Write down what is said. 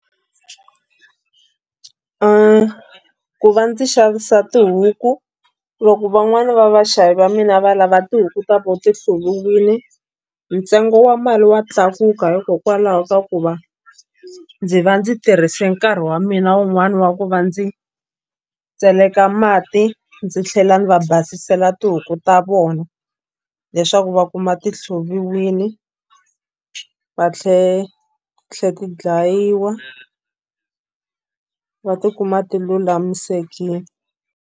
Ku va ndzi xavisa tihuku loko van'wani va vaxavi va mina va lava tihuku ta vona ti hluviwile ntsengo wa mali wa tlakuka hikokwalaho ka ku va ndzi va ndzi tirhise nkarhi wa mina wun'wani wa ku va ndzi tseleka mati ndzi tlhela ndzi va basela tihuku ta vona leswaku va kuma ti hluviwile va ti tlhela ti dlayiwa va tikuma ti lulamisekile.